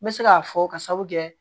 N bɛ se k'a fɔ ka sababu kɛ